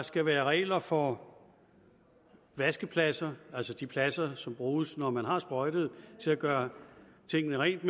skal være regler for vaskepladser altså de pladser som bruges når man har sprøjtet til at gøre tingene rent